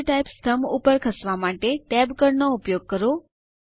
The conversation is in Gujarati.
ફિલ્ડ ટાઇપ સ્તંભ ઉપર ખસવા માટે Tab કળ નો ઉપયોગ કરો